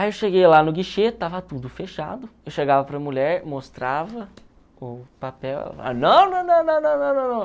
Aí eu cheguei lá no guichê, estava tudo fechado, eu chegava para a mulher, mostrava o papel, ela falava, não, não, não, não, não, não, não, não.